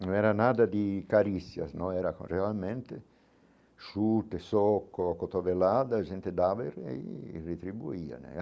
Não era nada de carícias, não era realmente chute, soco, cotovelada, a gente dava e aí retribuía né.